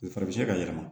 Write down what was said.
O fana bɛ se ka yɛlɛma